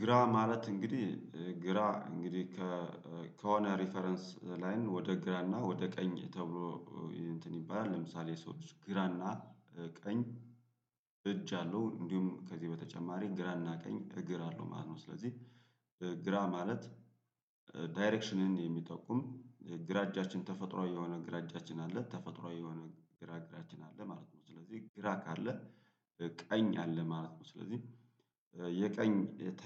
ግራ ማለት እንግዲህ ግራ እንግዲህ ከሆነ ሪፈረንስ ላይን ወደ ግራና ወደ ቀኝ ተብሎ እንትን ይባላል ለምሳሌ ሰዎች ግራና ቀኝ እጅ አለው እንዲሁም ከዚህ በተጨማሪ ግራና ቀኝ እግር አለው ማለት ነው። ስለዚህ ግራ ማለት ዳይሬክሽንን የሚጠቁም ግራ እጃችን ተፈጥሮአዊ የሆነ ግራ እጃችን አለ ተፈጥሮአዊ የሆነ ግራ እግራችን አለ ማለት ነው። ስለዚህ ግራ ካለ ቀኝ አለ ማለት ነው ስለዚህ የቀኝ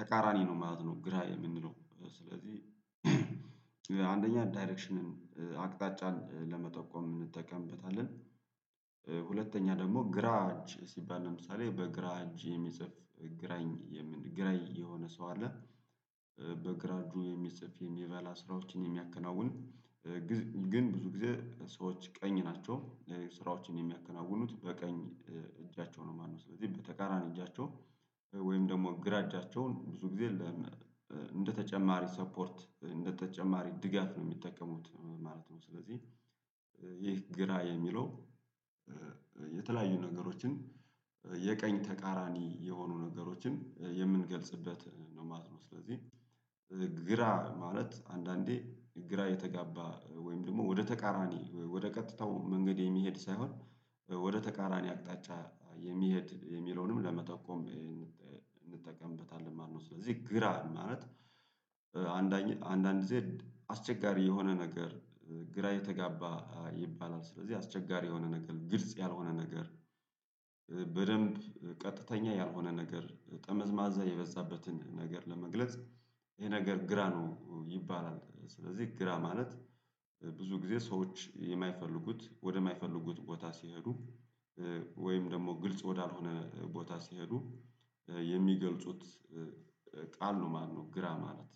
ተቃራኒ ነው ማለት ነው። ግራ የምንለው ስለዚህ አንደኛ ዳይሬክሽንን አቅጣጫን ለመጠቆም እንጠቀምበታለን። ሁለተኛ ደግሞ ግራ እጅ ሲባል ለምሳሌ በግራ እጅ የሚጽፍ ግራኝ ግራኝ የሆነ ሰው አለ። በግራ እጁ የሚጽፍ የሚበላ ስራዎችን የሚያከናውን። ግን ብዙ ጊዜ ሰዎች ቀኝ ናቸው ስራዎችን የሚያከናውኑት በቀኝ እጃቸው ነው። ማነው ስለዚህ በተቃራኒ እጃቸው ወይም ደግሞ ግራ እጃቸውን ብዙ ጊዜ እንደተጨማሪ ሰፖርት እንደተጨማሪ ድጋፍ ነው የሚጠቀሙት ማለት ነው። ስለዚህ ይህ ግራ የሚለው የተለያዩ ነገሮችን የቀኝ ተቃራኒ የሆኑ ነገሮችን የምንገልጽበት ነው ማለት ነው። ስለዚህ ግራ ማለት አንዳንዴ ግራ የተጋባ ወይም ደግሞ ወደ ተቃራኒ ወደ ቀጥታው መንገድ የሚሄድ ሳይሆን ወደ ተቃራኒ አቅጣጫ የሚሄድ የሚለውንም ለመጠቆም እንጠቀምበታለን ማለት ነው። ስለዚህ ግራ ማለት አንዳንድ ግዜ አስቸጋሪ የሆነ ነገር ግራ የተጋባ ይባላል ስለዚህ አስቸጋሪ የሆነ ነገር ግልጽ ያልሆነ ነገር በደንብ ቀጥተኛ ያልሆነ ነገር ጠመዝማዛ የበዛበትን ነገር ለመግለጽ ይሄ ነገር ግራ ነው ይባላል። ስለዚህ ግራ ማለት ብዙ ጊዜ ሰዎች የማይፈልጉት ወደ የማይፈልጉት ቦታ ሲሄዱ ወይም ደግሞ ግልጽ ወዳልሆነ ቦታ ሲሄዱ የሚገልጹት ቃል ነው ማነው ግራ ማለት።